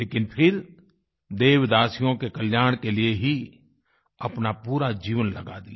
लेकिन फिर देवदासियों के कल्याण के लिए ही अपना पूरा जीवन लगा दिया